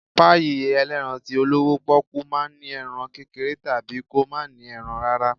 Páyì elerán tí olọwọ poku ma ń ní erán kékeré tabí kọ ma ní erán rara